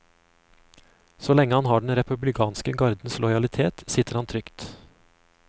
Så lenge han har den republikanske gardens lojalitet, sitter han trygt.